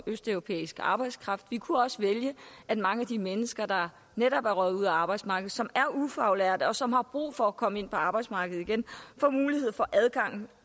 østeuropæisk arbejdskraft men vi kunne også vælge at mange af de mennesker der netop er røget ud af arbejdsmarkedet som er ufaglærte og som har brug for at komme ind på arbejdsmarkedet igen får mulighed for adgang